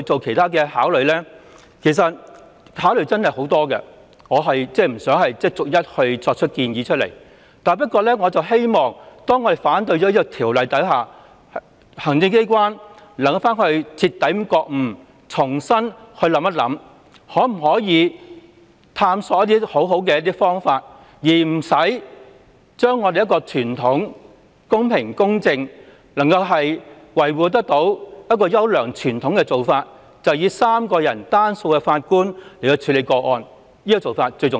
可以考慮的做法真的有很多，我不想逐一作出建議，但我希望當我們反對《條例草案》後，行政機關能夠徹底覺悟，重新探索另外一些好方法，而不需要更改由3名法官處理個案的做法，因為有關做法公平公正，並能維護優良傳統，這點最為重要。